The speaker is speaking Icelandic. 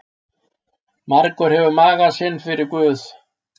Margur hefur magann fyrir sinn guð.